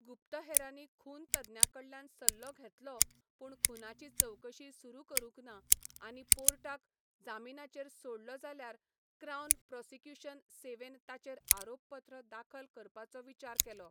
गुप्तहेरांनी खून तज्ञां कडल्यान सल्लो घेतलो पूण खूनाची चवकशी सुरू करूंक ना आनी पोर्टाक जामीनाचेर सोडलो जाल्यार क्राउन प्रोसिक्युशन सेवेन ताचेर आरोपपत्र दाखल करपाचो विचार केलो.